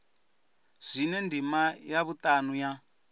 zwine ndima ya vhutanu ya